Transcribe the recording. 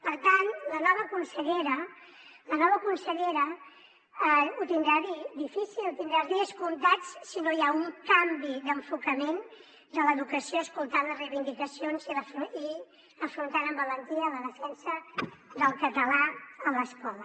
per tant la nova consellera ho tindrà difícil tindrà els dies comptats si no hi ha un canvi d’enfocament de l’educació escoltant les reivindicacions i afrontant amb valentia la defensa del català a l’escola